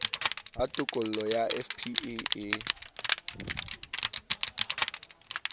ha tokollo ya fpe e